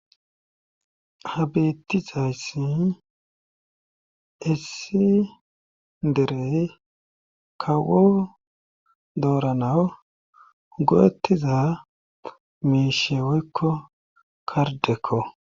Ha beettizayssi essi derey kawo dooranawu go'etiza miisheweykko kardekko.